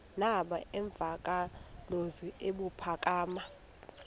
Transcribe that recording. aba nemvakalozwi ebuphakama